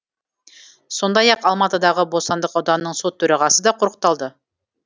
сондай ақ алматыдағы бостандық ауданының сот төрағасы да құрықталды